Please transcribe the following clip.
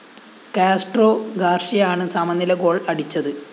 Castro ഗാര്‍ഷ്യയാണ് സമനില goal അടിച്ചത്